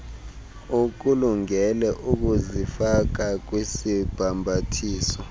ukulungele ukuzifaka kwisibhambathiso